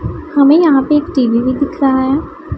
हमें यहां पे एक टी_वी भी दिख रहा है।